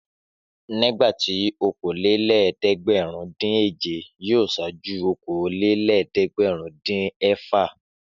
Nígbà tí okòólélẹ́ẹ̀dẹ́gbẹ̀rúndínèje yóò ṣáájú okòólélẹ́ẹ̀dẹ́gbẹ̀rúndínẹ̀fà.